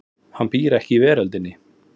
Hann býr ekki í veröldinni.